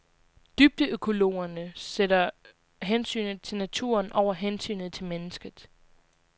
Dybdeøkologerne sætter hensynet til naturen over hensynet til mennesket.